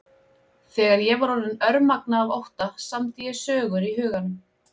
Þegar ég var orðin örmagna af ótta samdi ég sögur í huganum.